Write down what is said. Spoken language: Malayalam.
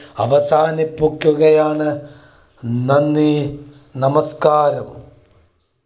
അവസാനിപ്പിക്കുകയാണ്. നന്ദി നമസ്കാരം.